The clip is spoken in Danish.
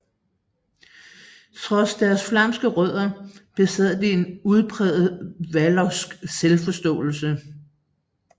Trods deres flamske rødder besad de en udpræget vallonsk selvforståelse